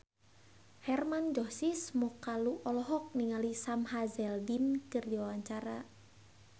Hermann Josis Mokalu olohok ningali Sam Hazeldine keur diwawancara